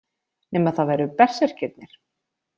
Nema það væru berserkirnir.